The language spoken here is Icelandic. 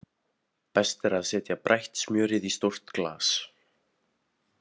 Best er að setja brætt smjörið í stórt glas.